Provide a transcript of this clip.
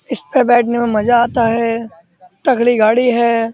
इस पे बैठने में मजा आता हैतगड़ी गाड़ी है।